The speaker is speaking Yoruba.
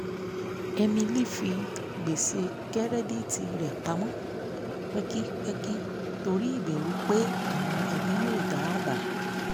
emily fi gbèsè kẹ́rẹ́díìtì rẹ̀ pamọ́ pẹkipẹki torí ìbẹ̀rù pé àwọn ẹbí yóò da àbá